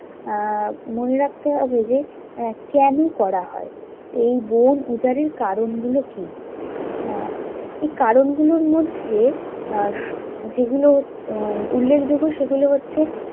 আহ মনে রাখতে হবে যে, আহ কেন করা হয়? এই বন উজাড়ের কারণ গুলো কি? আহ এই কারণগুলোর মধ্যে আহ যেগুলো উম উল্লেখযোগ্য সেগুলো হচ্ছে